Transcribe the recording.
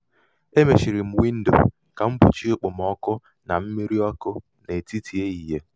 mmiri a mamidoro anyị ngwa ngwa ya mere anyị cheere n'okpuru anyị cheere n'okpuru nkpuchi ahịa.